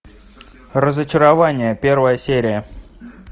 разочарование первая серия